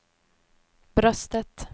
bröstet